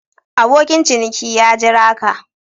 Abokin ciniki ya Jira ka.